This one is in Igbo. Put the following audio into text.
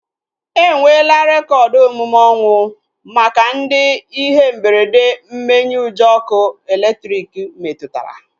Enwela rekoodu omume ọnwụ maka ndị ihe mberede mmenyeujọ ọkụ elektriki metụtara